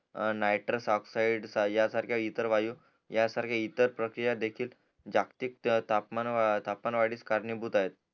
नायट्राज oxide यांसारख्या इतर वायू यांसारख्या इतर प्रक्रिया देखील जातीक तापमान वाढीस करणी भूत आहे